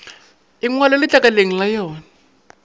e ngwalwe letlakaleng la yona